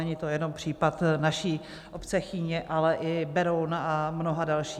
Není to jenom případ naší obce Chýně, ale i Berouna a mnoha dalších.